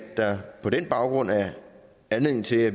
der på den baggrund er anledning til at